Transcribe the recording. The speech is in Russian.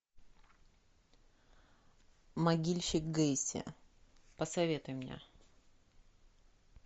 могильщик гейси посоветуй мне